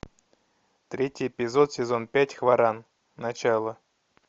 третий эпизод сезон пять хваран начало